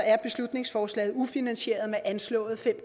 er beslutningsforslaget ufinansieret med anslået fem